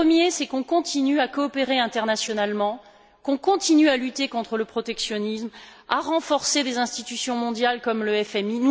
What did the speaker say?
Le premier, c'est qu'on continue à coopérer internationalement, qu'on continue à lutter contre le protectionnisme, à renforcer des institutions mondiales, comme le FMI.